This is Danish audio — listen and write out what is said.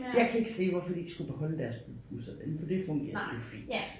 Jeg kan ikke se hvorfor de ikke skulle beholde deres busser den for det fungerede jo fint